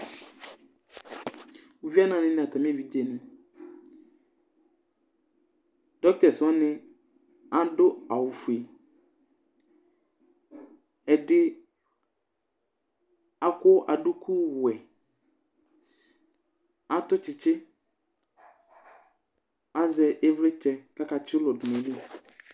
Uvinanɩ nʋ atamɩ evidzenɩ Dɔktɛs wanɩ adʋ awʋfue Ɛdɩ akɔ adukuwɛ, atʋ tsɩtsɩ, azɛ ɩvlɩtsɛ kʋ akatsɩ ʋlɔ dʋ nʋ ayili